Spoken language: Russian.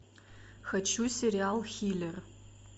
хочу сериал хилер